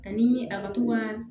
Ani a ka to ka